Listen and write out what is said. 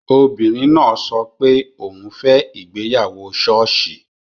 Obìnrin náà sọ pé òun fẹ́ ìgbéyàwó ṣọ́ọ̀ṣì